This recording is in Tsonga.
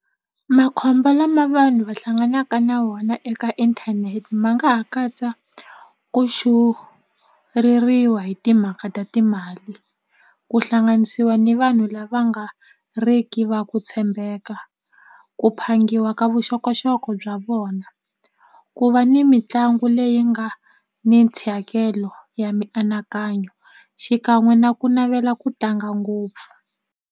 Makhombo lama vanhu va hlanganaka na wona eka inthanete ma nga ha katsa ku hi timhaka ta timali ku hlanganisiwa ni vanhu lava nga ri ki va ku tshembeka ku phangiwa ka vuxokoxoko bya vona ku va ni mitlangu leyi nga ni ya mianakanyo xikan'we na ku navela ku tlanga ngopfu.